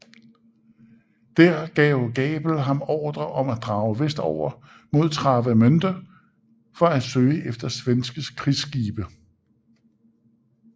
Der gav Gabel ham ordre om at drage vestover mod Travemünde for at søge efter svenske krigsskibe